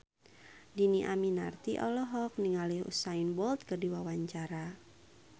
Dhini Aminarti olohok ningali Usain Bolt keur diwawancara